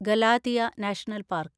Galathea national park